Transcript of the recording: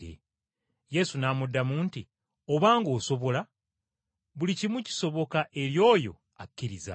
Yesu n’amuddamu nti, “Obanga osobola! Buli kimu kisoboka eri oyo akkiriza.”